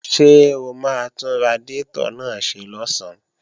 Ṣé o máa tún radiátọ̀ náà ṣe lọ̀sán?